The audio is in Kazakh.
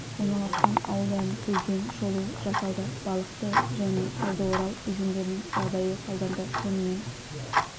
орналасқан ауылдарын көзбен шолу жасалды балықты және талдыорал өзендерінің жағдайы талданды сонымен